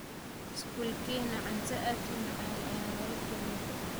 skolkena cunta aad umacan ayaa nolakariyaa